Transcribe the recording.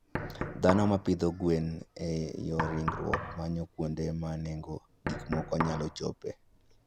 Dhano ma pidho gwen e yor ringruok manyo kuonde ma nengo gik moko nyalo chopoe.